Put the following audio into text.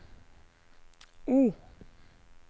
O